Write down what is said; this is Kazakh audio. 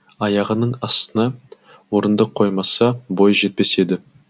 аяғының астына орындық қоймаса бойы жетпес еді